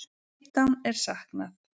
Fimmtán er saknað.